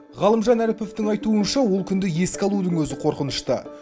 ғалымжан әріповтың айтуынша ол күнді еске алудың өзі қорқынышты